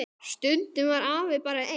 Stundum var afi bara einn.